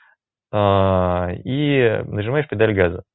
ааа и нажимаешь педаль газа